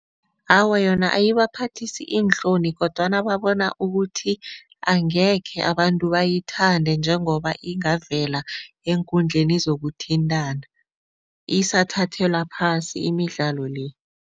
Awa, yona ayibaphathisi iinhloni kodwana babona ukuthi angekhe abantu bayithande njengoba ingavela eenkundleni zokuthintana isathathelwa phasi imidlalo le.